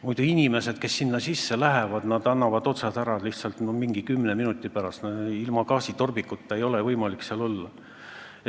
Muidu annavad inimesed, kes sinna sisse lähevad, kümne minuti pärast lihtsalt otsad ära, ilma gaasitorbikuta ei ole võimalik seal olla.